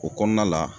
O kɔnɔna la